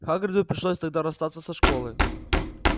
хагриду пришлось тогда расстаться со школой